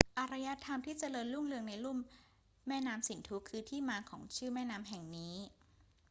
อารยธรรมที่เจริญรุ่งเรืองในลุ่มแม่น้ำสินธุคือที่มาของชื่อแม่น้ำแห่งนี้